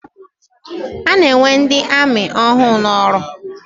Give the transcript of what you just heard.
A na-ewe ndị amị ọhụụ n'ọrụ.